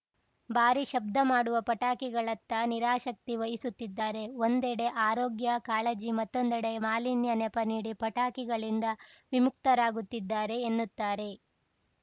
ಭಾರಿ ಶಬ್ದ ಮಾಡುವ ಪಟಾಕಿಗಳತ್ತ ನಿರಾಸಕ್ತಿ ವಹಿಸುತ್ತಿದ್ದಾರೆ ಒಂದೆಡೆ ಆರೋಗ್ಯ ಕಾಳಜಿ ಮತ್ತೊಂದೆಡೆ ಮಾಲಿನ್ಯ ನೆಪ ನೀಡಿ ಪಟಾಕಿಗಳಿಂದ ವಿಮುಕ್ತರಾಗುತ್ತಿದ್ದಾರೆ ಎನ್ನುತ್ತಾರೆ